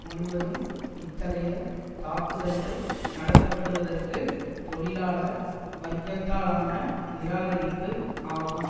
முழுவதும் இத்தகைய தாக்குதல்கள் நடத்த படுவதற்கு தொழிலாள வர்க்கத்தாலான நிராகரிப்பு ஆகும்